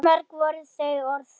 Svo mörg voru þau orð!